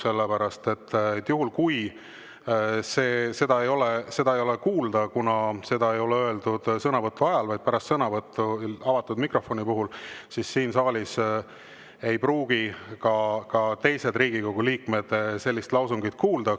Sellepärast, et juhul kui seda ei ole kuulda – seda ei ole öeldud sõnavõtu ajal, vaid pärast sõnavõttu, kuigi mikrofon oli avatud –, siis siin saalis ei pruugi ka teised Riigikogu liikmed seda lausungit kuulda.